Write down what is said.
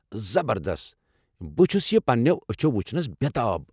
زبردست! بہٕ چھُس یہِ پننٮ۪و أچھو وچھنس بےٚتاب۔